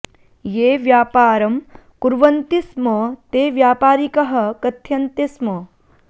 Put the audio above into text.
ये व्यापारं कुर्वन्ति स्म ते व्यापारिकाः कथ्यन्ते स्म